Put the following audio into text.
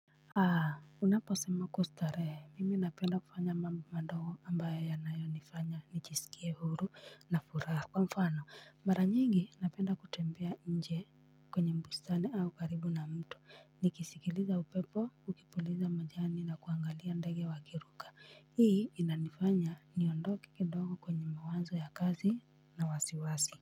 Aa unaposema kustarehe mimi napenda kufanya mambo madogo ambayo yanayonifanya nijisikie huru na furaha kwa mfano mara nyingi napenda kutembea nje kwenye bustani au karibu na mto nikisikiliza upepo ukipuliza majani na kuangalia ndege wakiruka hii inanifanya niondoke kidogo kwenye mawazo ya kazi na wasiwasi.